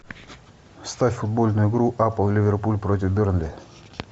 ставь футбольную игру апл ливерпуль против бернли